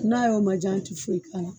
N'a y'o majan an ti foyi k'a la.